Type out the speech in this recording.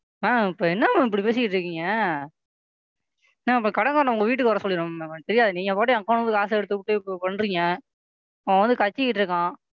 Ma'am இப்ப என்ன Ma'am இப்படி பேசிட்டு இருக்கீங்க? Ma'am அப்ப கடன்காரனை உங்க வீட்டுக்கு வர சொல்லிற்றேன் Ma'am எனக்கு தெரியாது நீங்க பாட்டுக்கு Account ல இருந்து காசு எடுத்துட்டு இப்ப இப்படி பண்றீங்க அவன் வந்து கத்திட்டு இருக்கான்.